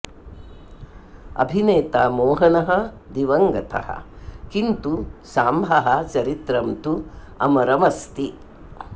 अभिनेता मोहनः दिवं गतः किन्तु सांभः चरित्रं तु अमरमस्ति